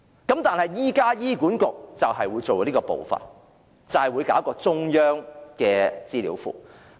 不過，現時醫管局會採取這步驟，制訂中央資料庫。